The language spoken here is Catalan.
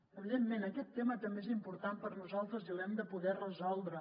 evidentment aquest tema també és important per a nosaltres i l’hem de poder resoldre